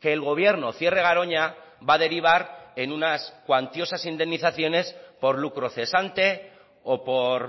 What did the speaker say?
que el gobierno cierre garoña va a derivar en unas cuantiosas indemnizaciones por lucro cesante o por